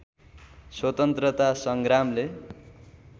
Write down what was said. स्वतन्त्रता सङ्ग्रामले